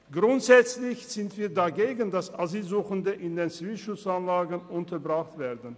Grundsätzlich sind wir dagegen, dass Asylsuchende in Zivilschutzanlagen untergebracht werden.